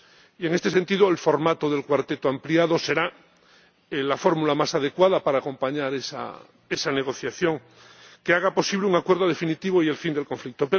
Y, en este sentido, el formato del Cuarteto ampliado será la fórmula más adecuada para acompañar esa negociación que haga posible un acuerdo definitivo y el fin del conflicto.